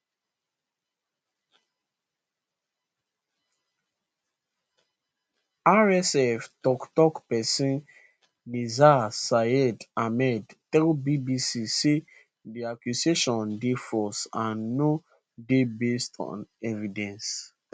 rsf toktok pesin nizar sayed ahmed tell bbc say di accusation dey false and no dey based on evidence